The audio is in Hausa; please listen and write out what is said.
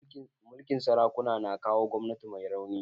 Mulkin sarakuna na kawo gwamnati mai rauni.